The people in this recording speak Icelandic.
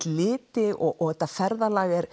liti og þetta ferðalag er